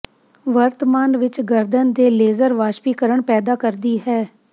ਵਰਤਮਾਨ ਵਿੱਚ ਗਰਦਨ ਦੇ ਲੇਜ਼ਰ ਵਾਸ਼ਪੀਕਰਣ ਪੈਦਾ ਕਰਦੀ ਹੈ